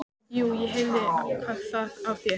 Jú, ég heyri það á þér.